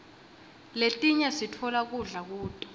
letinye sitfola kudla kuto